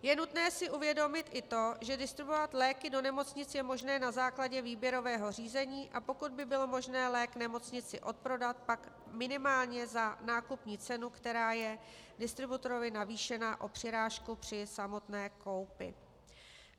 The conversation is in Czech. Je nutné si uvědomit i to, že distribuovat léky do nemocnic je možné na základě výběrového řízení, a pokud by bylo možné lék nemocnici odprodat, pak minimálně za nákupní cenu, která je distributorovi navýšena o přirážku při samotné koupi.